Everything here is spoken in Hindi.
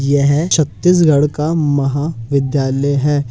यह छतीसगढ़ का महा विद्यालय है।